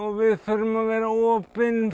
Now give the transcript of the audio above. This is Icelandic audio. og við þurfum að vera opin